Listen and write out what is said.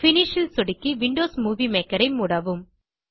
finish ல் சொடுக்கி Windows Movie Maker ஐ மூடவும்